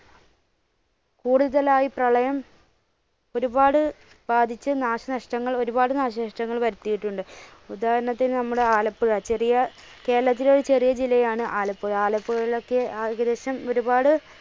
കൂടുതലായി പ്രളയം ഒരുപാട് ബാധിച്ച് നാശനഷ്ടങ്ങൾ ഒരുപാട് നാശനഷ്ടങ്ങൾ വരുത്തിയിട്ടുണ്ട് ഉദാഹരണത്തിന് നമ്മുടെ ആലപ്പുഴ ചെറിയ കേരളത്തിലെ ഒരു ചെറിയ ജില്ലയാണ് ആലപ്പുഴ, ആലപ്പുഴയിലൊക്കെ ഏകദേശം ഒരുപാട്